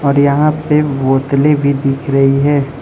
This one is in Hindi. और यहां पे बोतलें भी दिख रही है।